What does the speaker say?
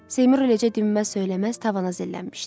Seymur eləcə dinməz-söyləməz tavana zillənmişdi.